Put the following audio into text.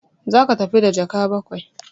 Za ka tafi da jaka bakwai!